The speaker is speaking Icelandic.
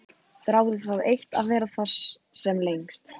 Þráði það eitt að vera þar sem lengst.